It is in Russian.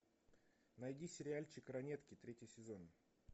найди сериальчик ранетки третий сезон